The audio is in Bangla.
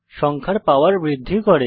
সংখ্যার পাওয়ার বৃদ্ধি করে